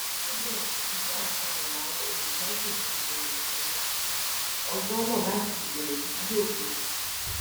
síbẹ ìjọ àti ayọ làwọn olùjọsìn ọhún fi bẹrẹ ìsìn wọn ọjọ náà láti ìbẹrẹ títí dé òpin